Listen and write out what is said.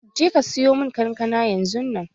Je ka sayo mun kankana yanzun nan!